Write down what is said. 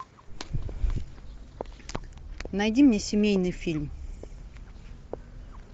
найди мне семейный фильм